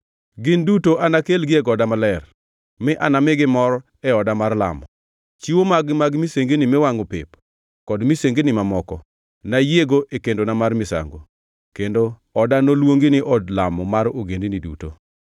gin duto anakelgi e goda maler mi anamigi mor e oda mar lamo. Chiwo mag-gi mag misengini miwangʼo pep kod misengini mamoko nayiego e kendona mar misango; kendo oda noluongi ni od lamo mar ogendini duto.”